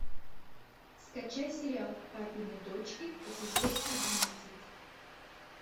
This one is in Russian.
скачай сериал папины дочки эпизод одиннадцать